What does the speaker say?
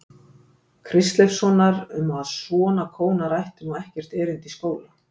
Kristleifssonar um að svona kónar ættu nú ekkert erindi í skóla.